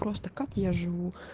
просто как я живу